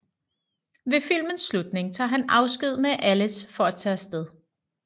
Ved filmens slutning tager han afsked med Alice for at tage af sted